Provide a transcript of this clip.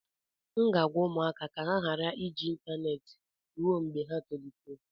M ga-agwa ụmụaka ka ha ghara iji ịntaneetị ruo mgbe ha tolitere